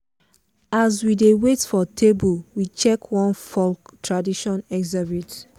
as we dey wait for table we check one folk tradition exhibit.